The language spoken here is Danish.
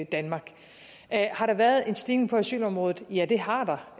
danmark har der været en stigning på asylområdet ja det har der